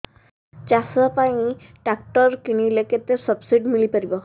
ଚାଷ ପାଇଁ ଟ୍ରାକ୍ଟର କିଣିଲେ କେତେ ସବ୍ସିଡି ମିଳିପାରିବ